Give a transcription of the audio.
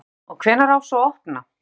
Jón Örn: Og hvenær á svo að opna?